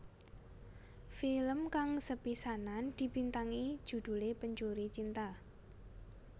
Film kang sepisanan dibintangi judhulé Pencuri Cinta